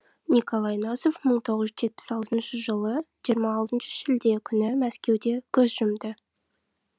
николай носов мың тоғыз жүз жетпіс алтыншы жылы жиырма алтыншы шілде күні мәскеуде көз жұмды